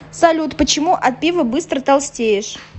салют почему от пива быстро толстеешь